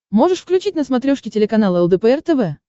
можешь включить на смотрешке телеканал лдпр тв